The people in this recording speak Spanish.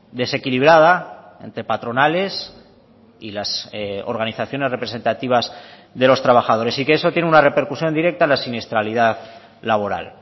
desequilibrada entre patronales y las organizaciones representativas de los trabajadores y que eso tiene una repercusión directa a la siniestralidad laboral